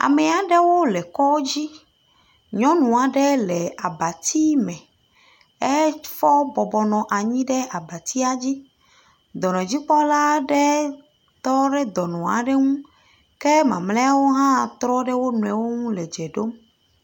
Ame aɖewo le kɔ dzi. Nyɔnu aɖe le abati me. Efɔ bɔbɔ nɔ anyi ɖe abatia dzi. Dɔnɔdzikpɔla aɖe tɔ ɖe dɔnɔ aɖe ŋu. ke mamlɛwo ha tɔ ɖe wonɔewo ŋu le dze ɖom.